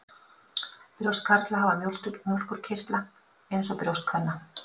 Brjóst karla hafa mjólkurkirtla eins og brjóst kvenna.